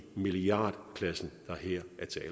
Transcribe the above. milliardklassen der her